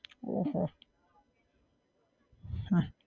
ઓહો